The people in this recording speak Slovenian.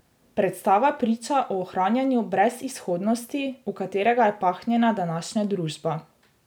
Predstava priča o ohranjanju brezizhodnosti, v katerega je pahnjena današnja družba.